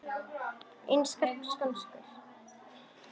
Enskar skonsur